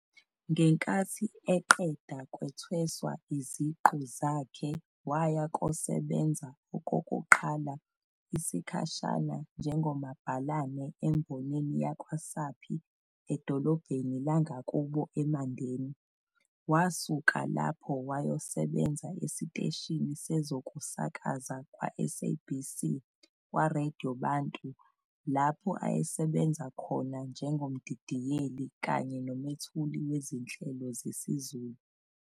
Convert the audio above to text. Ngenkathi eqeda kwethweswa iziqu zakhe waya kosebenza okokuiqala isikhashana njengomabhalane emboniini yakwaSappi edolobhaneni langakubo eMandeni. Wasuka lapho wayosebenza esiteshini sezokusakaza kwa-SABC kwaRadio Bantu lapho ayesebenza khona njengomdidiyeli kanye nomethuli wezinhlelo zesiZulu.